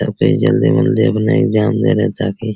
सब कोई जल्दी उल्दी में अपना एग्जाम दे रहे हैं ताकि --